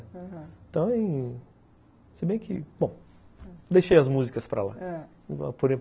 Aham, então, se bem que, bom, deixei as músicas para lá, ãh